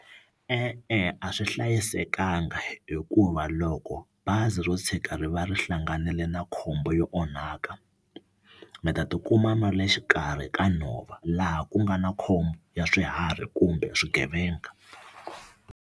E-e a swi hlayisekanga hikuva loko bazi ro tshuka ri va ri hlanganile na khombo yo onhaka mi ta tikuma mi ri le xikarhi ka nhova laha ku nga na khombo ya swiharhi kumbe swigevenga.